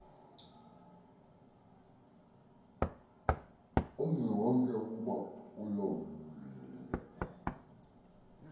umziwonke ukuba lolu